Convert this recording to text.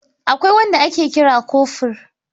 Akwai wanda ake kira kofur.